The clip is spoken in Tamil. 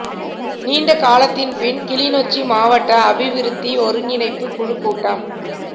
நீண்ட காலத்தின் பின் கிளிநொச்சி மாவட்ட அபிவிருத்திக் ஒருங்கிணைப்புக் குழு கூட்டம்